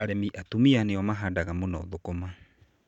Arĩmi atumia nĩ o mũno mahandaga thũkũma.